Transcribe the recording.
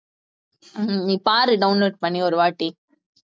உம் நீ பாரு download பண்ணி ஒரு வாட்டி